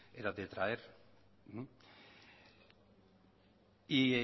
era de traer y